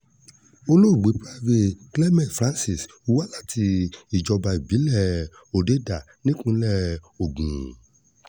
olóògbé private clement francis wá láti ìjọba ìbílẹ̀ òdedá nípínlẹ̀ ogun